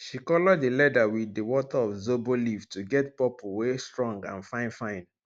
she color di leather wit di water of zobo leaf to get purple wey strong and fine fine